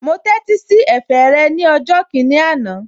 Mo tẹ́tí sí ẹ̀fẹ̀ rẹ̀ ní ọjọ́ kìíní àná